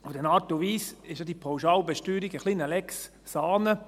In gewisser Art und Weise ist die Pauschalbesteuerung ja eine Lex Saanen.